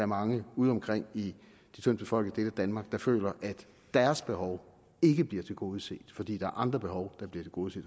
mange udeomkring i de tyndtbefolkede danmark der føler at deres behov ikke bliver tilgodeset fordi der er andre behov der bliver tilgodeset